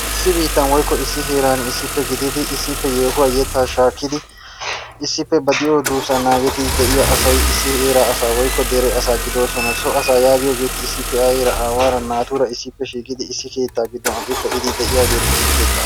Issi biittan woykko issi heeran issippe gididi issippe yehuwaa yetta shakkidi issippe ba de'iyo duussa naagidi deiya asay issi heeraa asa woykko dere asa gidosona. so asa yaagiyogeti aayera aawaara naatura issippe shiiqidi issi keettaa giddon aqqi peidi deiyageti issi keettaa asa.